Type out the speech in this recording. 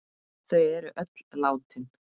Þau er öll látin.